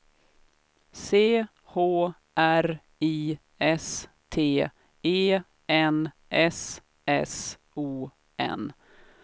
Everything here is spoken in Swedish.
C H R I S T E N S S O N